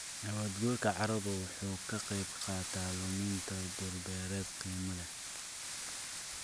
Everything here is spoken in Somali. Nabaad guurka carradu wuxuu ka qayb qaataa luminta dhul-beereed qiimo leh.